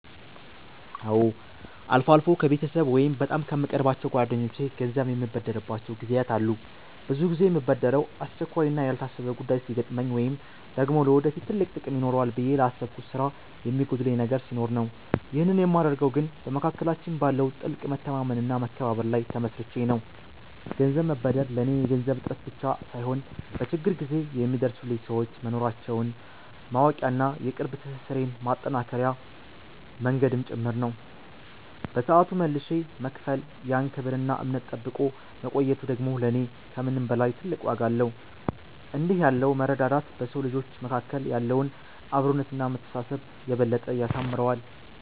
አዎ፣ አልፎ አልፎ ከቤተሰብ ወይም በጣም ከምቀርባቸው ጓደኞቼ ገንዘብ የምበደርባቸው ጊዜያት አሉ። ብዙ ጊዜ የምበደረው አስቸኳይና ያልታሰበ ጉዳይ ሲገጥመኝ ወይም ደግሞ ለወደፊት ትልቅ ጥቅም ይኖረዋል ብዬ ላሰብኩት ስራ የሚጎድለኝ ነገር ሲኖር ነው። ይህንን የማደርገው ግን በመካከላችን ባለው ጥልቅ መተማመንና መከባበር ላይ ተመስርቼ ነው። ገንዘብ መበደር ለኔ የገንዘብ እጥረት ብቻ ሳይሆን፣ በችግር ጊዜ የሚደርሱልኝ ሰዎች መኖራቸውን ማወቂያና የቅርብ ትስስሬን ማጠናከሪያ መንገድም ጭምር ነው። በሰዓቱ መልሼ በመክፈል ያን ክብርና እምነት ጠብቆ መቆየቱ ደግሞ ለኔ ከምንም በላይ ትልቅ ዋጋ አለው። እንዲህ ያለው መረዳዳት በሰው ልጆች መካከል ያለውን አብሮነትና መተሳሰብ የበለጠ ያሳምረዋል።